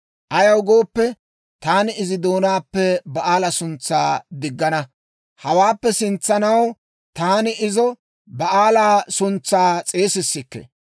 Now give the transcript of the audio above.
Ayaw gooppe, taani izi doonaappe Ba'aala suntsaa diggana; hawaappe sintsanaw taani izo Ba'aala suntsaa s'eesissikke.